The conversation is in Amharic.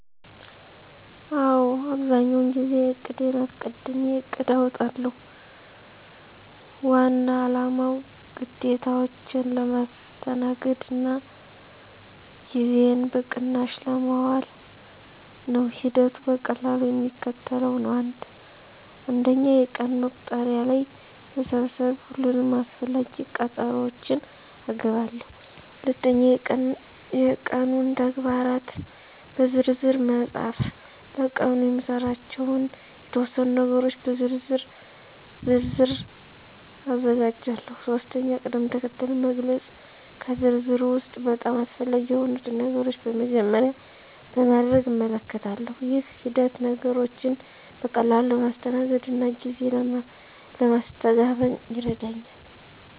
አዎ፣ አብዛኛውን ጊዜ ቀንዴን አስቀድሜ እቅድ አውጣለሁ። ዋና አላማው ግዴታዎቼን ለማስተናገድ እና ጊዜዬን በቅናሽ ለማዋል ነው። ሂደቱ በቀላሉ የሚከተለው ነው፦ 1. የቀን መቁጠሪያ ላይ መሰብሰብ ሁሉንም አስፈላጊ ቀጠሮዎቼን እገባለሁ። 2. የቀኑን ተግባራት በዝርዝር መፃፍ ለቀኑ የምሰራባቸውን የተወሰኑ ነገሮች በዝርዝር ዝርዝር አዘጋጃለሁ። 3. ቅድም-ተከተል መግለጽ ከዝርዝሩ ውስጥ በጣም አስፈላጊ የሆኑትን ነገሮች በመጀመሪያ ለማድረግ እመልከታለሁ። ይህ ሂደት ነገሮችን በቀላሉ ለማስተናገድ እና ጊዜ ለማስተጋበን ይረዳኛል።